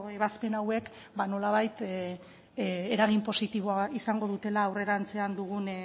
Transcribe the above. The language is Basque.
ebazpen hauek ba nolabait eragin positiboa izango dutela aurrerantzean dugun